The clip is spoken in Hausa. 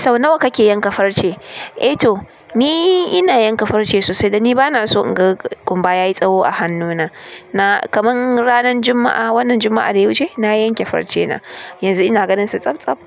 Sau nawa kake yanka farce? Eh to ni ina yanka farce sosai dan ni bana so in ga kumba ya yi tsawo a hannuna. Na kaman ranan Juma'a, wannan Juma'a da ya wuce na yanke farce na. Yanzu ina ganinsa tsab tsab.